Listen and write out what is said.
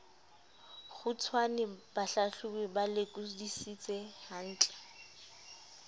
kgutshwane bahlahlobi ba lekodisise hantle